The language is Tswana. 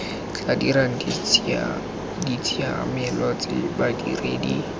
tla dirang ditshiamelo tse badiredi